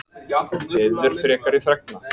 Beðið er frekari fregna